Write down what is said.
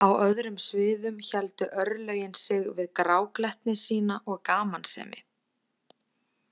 Á öðrum sviðum héldu örlögin sig við gráglettni sína og gamansemi.